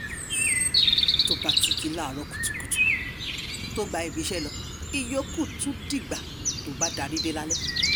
tó bá ti jí láàárọ̀ kùtùkùtù tó gba ibi iṣẹ́ lọ ìyókù tún dìgbà tó bá darí dé lálẹ́